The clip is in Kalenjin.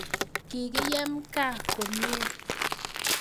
Kikiyem gaa komie